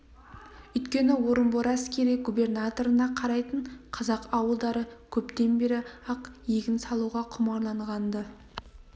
өйткені орынбор әскери губернаторына қарайтын қазақ ауылдары көптен бері-ақ егін салуға құмарланған-ды